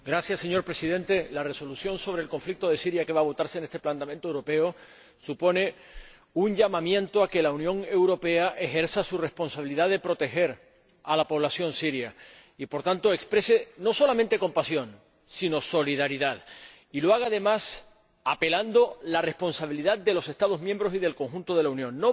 Señor Presidente, la Resolución sobre el conflicto de Siria que va a votarse en el Parlamento Europeo supone un llamamiento a que la Unión Europea ejerza su responsabilidad de proteger a la población siria y, por tanto, exprese no solamente compasión, sino solidaridad, y lo haga, además, apelando a la responsabilidad de los Estados miembros y del conjunto de la Unión.